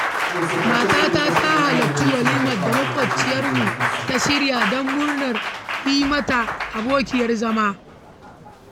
Matata ta halarci walimar da maƙwabciyarmu ta shirya don murnar yi mata abokiyar zama.